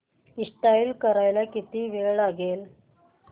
install करायला किती वेळ लागेल